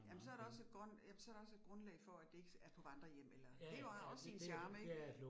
Jamen så der også et ja, så der også et grundlag for at det ikke er på vandrehjem eller, det har også sin charme ik